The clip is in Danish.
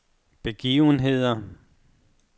begivenheder